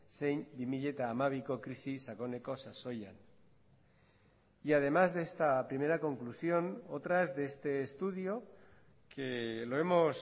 zein bi mila hamabiko krisi sakoneko sasoian y además de esta primera conclusión otras de este estudio que lo hemos